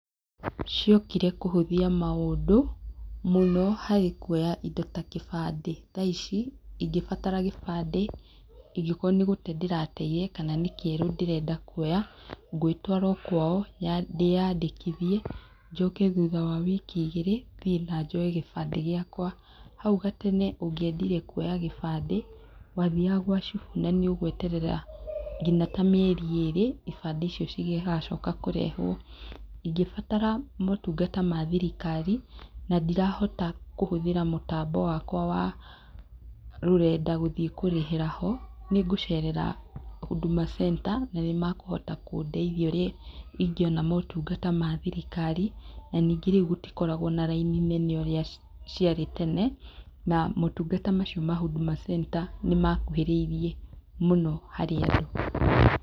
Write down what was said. Ciokire kũhũthia maũndũ, mũno harĩ kuoya indo ta kĩbandĩ. Tha ici ingĩbatara gĩbandĩ, ingĩkorwo nĩ gũte ndĩrateire kana nĩ kĩerũ ndĩrenda kuoya, ngwĩtwara o kwao, ndĩandĩkĩthie, njũke thutha wa wiki igĩrĩ, thiĩ na njoye gĩbandĩ gĩakwa. Hau gatene, ũngĩendire kuoya gĩbandĩ, wa thiaga gwa cibũ na nĩũgweterera nginya ta mĩeri erĩ, ibandĩ icio cigĩgacoka kũrehwo. Ingĩatara maũtungata ma thirikari, na ndirahota kũhũthĩra mũtambo wakwa wa rũrenda gũthiĩ kũrĩhĩra ho, nĩngũcerera huduma centre, na nĩ makũhota kũndeithia ũrĩa ingeona maũtungata ma thirikari, na ningĩ rĩu gũtikoragwo na raini nene urĩa ciarĩ tene. Na maũtungata mau ma huduma centre nĩmakũhĩrĩirie mũno harĩ andũ.